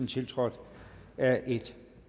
tiltrådt af et